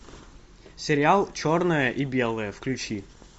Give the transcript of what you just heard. сериал черное и белое включи